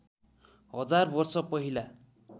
हजार वर्ष पहिला